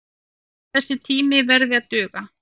Þessi tími verði að duga.